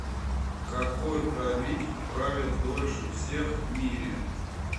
какой правитель правил дольше всех в мире